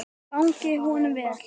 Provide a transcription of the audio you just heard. Gangi honum vel!